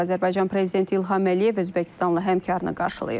Azərbaycan prezidenti İlham Əliyev Özbəkistanlı həmkarını qarşılayıb.